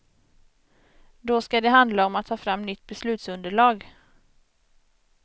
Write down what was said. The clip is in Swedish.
Då skall det handla om att ta fram nytt beslutsunderlag.